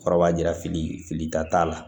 Kɔrɔ b'a jira fili fili ta t'a la